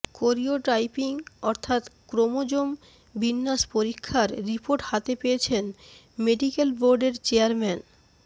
karyotyping অর্থাত্ chromosome বিন্যাস পরীক্ষার রিপোর্ট হাতে পেয়েছেন মেডিক্যাল বোর্ডের চেয়ারম্যান